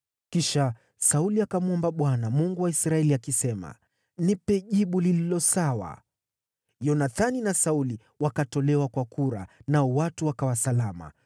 Kisha Sauli akamwomba Bwana , Mungu wa Israeli, akisema, “Nipe jibu lililo sawa.” Yonathani na Sauli wakatolewa kwa kura, nao watu wakawa salama.